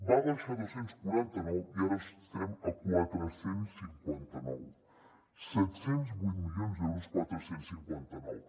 va baixar a dos cents i quaranta nou i ara estem a quatre cents i cinquanta nou set cents i vuit milions d’euros quatre cents i cinquanta nou